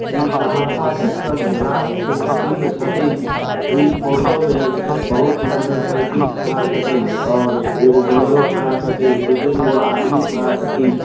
इ सहरसा जक्सन रात के सीन छथीन इ फोटो में बहुत मोटरसाइकिल खड़ा छथीन और एगो बोलेरो खड़ा छथीन दू तीन गो आदमी खड़ा छथीन ।